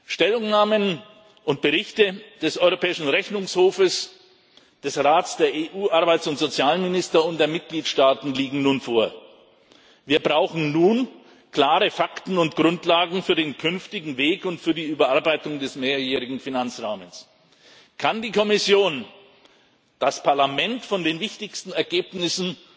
Stellungnahmen und Berichte des Europäischen Rechnungshofes, des Rates der EU Arbeits und Sozialminister und der Mitgliedstaaten liegen nun vor. Wir brauchen nun klare Fakten und Grundlagen für den künftigen Weg und für die Überarbeitung des mehrjährigen Finanzrahmens. Kann die Kommission das Parlament von den wichtigsten Ergebnissen